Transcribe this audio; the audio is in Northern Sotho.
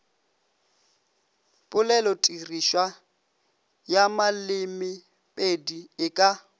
polelotirišwa ya malemepedi e ka